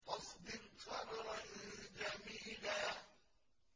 فَاصْبِرْ صَبْرًا جَمِيلًا